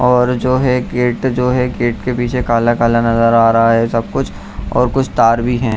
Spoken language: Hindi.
और जो है गेट जो है गेट के पीछे काला-काला नजर आ रहा है सब कुछ और कुछ तार भी हैं।